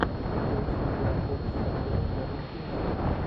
поищи зверополис с актером беном кингсли